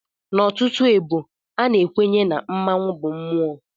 N'ọtụtụ ebo, a na-ekwenye na mmanwụ bụ mmụọ.